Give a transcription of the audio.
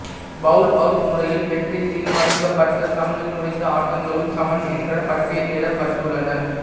bowl out முறையில் வெற்றி தீர்மானிக்கப்பட்ட சமனில் முடிந்த ஆட்டங்களும் சமன் என்றே பட்டியலிடப்பட்டுள்ளன